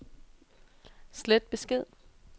slet besked